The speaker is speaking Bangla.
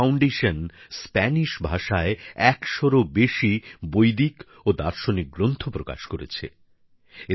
হস্তিনাপুর ফাউন্ডেশন স্প্যানিশ ভাষায় একশোরও বেশি বৈদিক ও দার্শনিক গ্রন্থ প্রকাশ করেছে